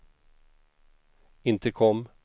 intercom